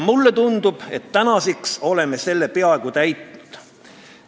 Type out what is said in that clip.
Mulle tundub, et tänaseks oleme selle peaaegu täitnud.